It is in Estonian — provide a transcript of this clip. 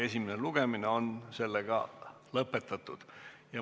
Esimene lugemine on lõpetatud.